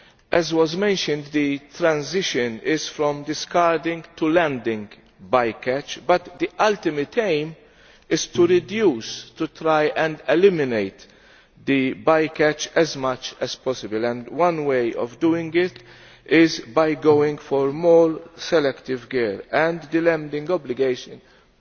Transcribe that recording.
As was mentioned, the transition is from discarding to landing bycatch, but the ultimate aim is to reduce and to try and eliminate bycatch as much as possible. One way of doing this is by going for more selective gear, while the landing obligation also